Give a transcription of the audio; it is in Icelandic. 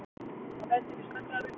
Það bendir til snöggrar upphitunar.